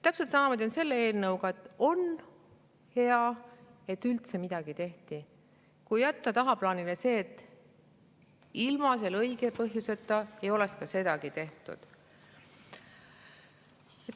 Täpselt samamoodi on selle eelnõuga: on hea, et üldse midagi tehti, kui jätta tagaplaanile see, et ilma õige põhjuseta ei oleks sedagi tehtud.